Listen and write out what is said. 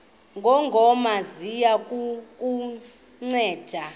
ngongoma ziya kukunceda